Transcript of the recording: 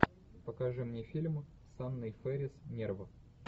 покажи мне фильм с анной фэрис нерв